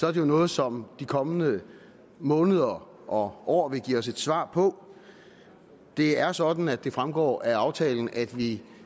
er det jo noget som de kommende måneder og år vil give os et svar på det er sådan at det fremgår af aftalen at vi